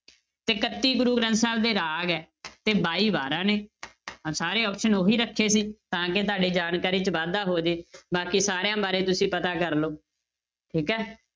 ਤੇ ਇਕੱਤੀ ਗੁਰੂ ਗ੍ਰੰਥ ਸਾਹਿਬ ਦੇ ਰਾਗ ਹੈ ਤੇ ਬਾਈ ਵਾਰਾਂ ਨੇ ਸਾਰੇ option ਉਹੀ ਰੱਖੇ ਸੀ ਤਾਂ ਕਿ ਤੁਹਾਡੇ ਜਾਣਕਾਰੀ 'ਚ ਵਾਧਾ ਹੋ ਜਾਏ ਬਾਕੀ ਸਾਰਿਆਂ ਬਾਰੇ ਤੁਸੀਂ ਪਤਾ ਕਰ ਲਓ ਠੀਕ ਹੈ।